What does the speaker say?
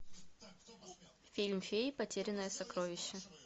фильм феи потерянное сокровище